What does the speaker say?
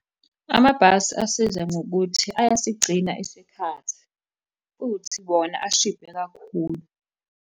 Amabhasi asiza ngokuthi ayasigcina isikhathi, futhi bona ashibhe kakhulu.